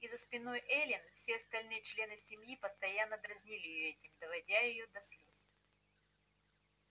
и за спиной эллин все остальные члены семьи постоянно дразнили её этим доводя до слёз